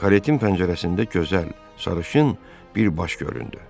Karetin pəncərəsində gözəl sarışın bir baş göründü.